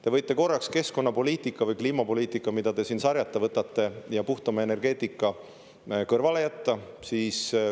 Te võite korraks keskkonnapoliitika või kliimapoliitika, mida te siin sarjata võtate, ja puhtama energeetika kõrvale jätta.